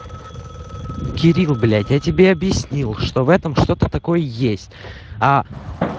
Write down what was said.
кирилл блять я тебе объяснил что в этом что-то такое есть а